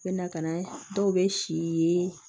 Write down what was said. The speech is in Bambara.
N bɛ na ka na dɔw bɛ si yee